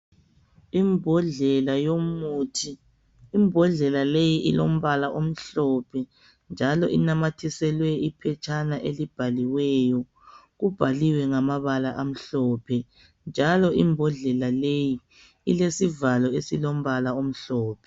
Imbodlela yomuthi, imbodlela leyi ilombala omhlophe njalo inamathiselwe iphetshana elibhaliweyo. Kubhaliwe ngamabala amhlophe njalo imbondlela leyi ilesivalo esilombala omhlophe.